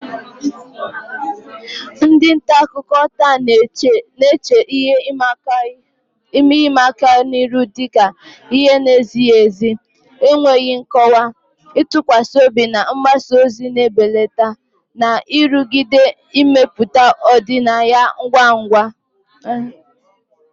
Ndị nta akụkọ taa na-eche ihe ịma aka ihu dị ka ihe na-ezighi ezi, enweghị nkọwa, ntụkwasị obi na mgbasa ozi na-ebelata, na nrụgide imepụta ọdịnaya ngwa ngwa.